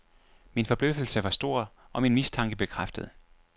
Min forbløffelse var stor, og min mistanke bekræftet.